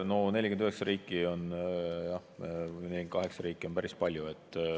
No 49 või 48 riiki on päris palju.